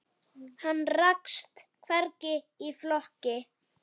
Hann rakst hvergi í flokki.